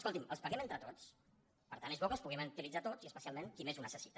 escolti’m els paguem entre tots per tant és bo que els puguem utilitzar tots i especialment qui més ho necessita